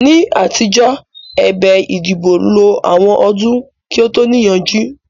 Ní àtijọ́, ẹ̀bẹ̀ ìdìbò lo àwọn ọdún kí ó tó níyanjú